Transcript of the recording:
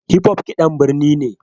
Hip-hop kiɗan birni ne